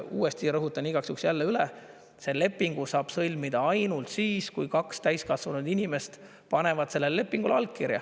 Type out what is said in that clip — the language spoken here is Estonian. Uuesti rõhutan igaks juhuks üle: lepingu saab sõlmida ainult siis, kui kaks täiskasvanud inimest panevad sellele lepingule allkirja.